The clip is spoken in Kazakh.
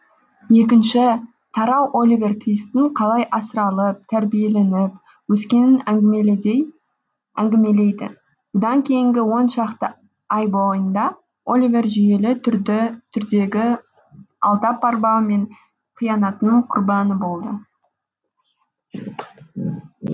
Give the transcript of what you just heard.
екінші тарау оливер твистің қалай асыралып тәрбиеленіп өскенін әңгімелейді бұдан кейінгі он шақты ай бойында оливер жүйелі түрдегі алдап арбау мен қиянаттың құрбаны болды